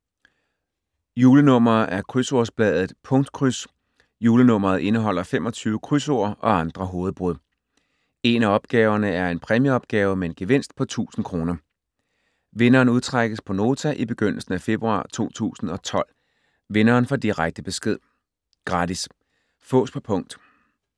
Julenummer af krydsordsbladet Punktkryds. Julenummeret indeholder 25 krydsord og andre hovedbrud. En af opgaverne er en præmieopgave med en gevinst på 1.000 kr. Vinderen udtrækkes på Nota i begyndelsen af februar 2012. Vinderen får direkte besked. Gratis. Fås på punkt.